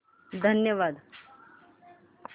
धन्यवाद